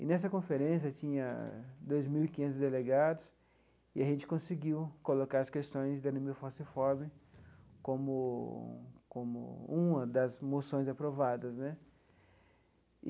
E, nessa conferência, tinha dois mil e quinhentos delegados e a gente conseguiu colocar as questões da anemia falciforme como como uma das moções aprovadas né.